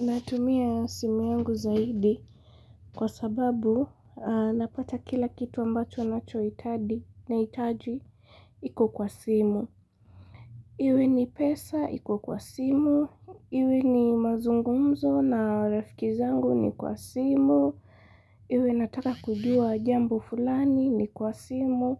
Natumia simu yangu zaidi kwasababu napata kila kitu ambacho nachoitadi nahitaji iku kwa simu. Iwe ni pesa iku kwa simu, iwe ni mazungumzo na rafiki zangu ni kwa simu, iwe nataka kujua jambo fulani ni kwa simu.